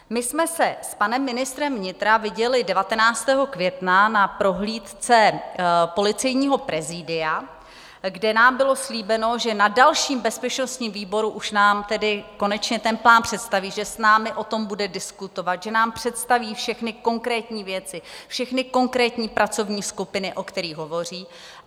My jsme se s panem ministrem vnitra viděli 19. května na prohlídce policejního prezidia, kde nám bylo slíbeno, že na dalším bezpečnostním výboru už nám tedy konečně ten plán představí, že s námi o tom bude diskutovat, že nám představí všechny konkrétní věci, všechny konkrétní pracovní skupiny, o kterých hovoří.